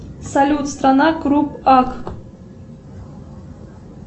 салют страна круп ак